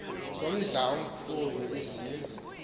ngomdla omkhulu izindlu